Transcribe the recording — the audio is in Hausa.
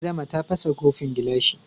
Adama ta fasa kofin gilashi.